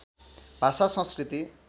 भाषा संस्कृति